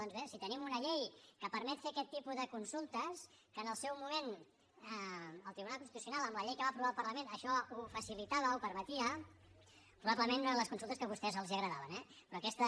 doncs bé si tenim una llei que permet fer aquest tipus de consultes que en el seu moment el tribunal constitucional amb la llei que va aprovar el parlament això ho facilitava ho permetia probablement no eren les consultes que a vostès els agradaven eh però aquesta